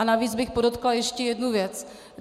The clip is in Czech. A navíc bych podotkla ještě jednu věc.